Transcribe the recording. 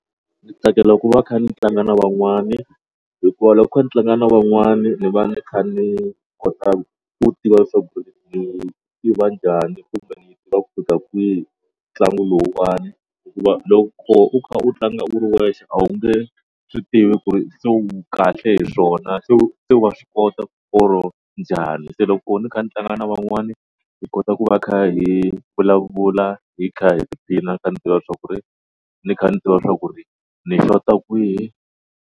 Ndzi tsakela ku va kha ndzi tlanga na van'wana hikuva loko ndzi tlanga na van'wana ndzi va ndzi kha ndzi kota ku tivi leswaku njhani kumbe ku fika kwihi ntlangu lowuwani hikuva loko u kha u tlanga u ri wexe a wu nge swi tivi ku ri se wu kahle hi swona se se wa swi kota or njhani se loko ndzi kha ndzi tlanga na van'wana hi kota ku va kha hi vulavula hi kha hi tiphina ndzi kha ndzi tiva leswaku ku ri ndzi kha ndzi tiva swa ku ri ndzi xota kwihi.